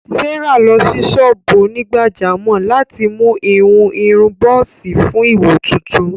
Sárà lọ sí ṣọ́ọ́bù onígbàjámọ̀ láti mú ìhun irun bọ́ọ́sì fún ìwò tuntun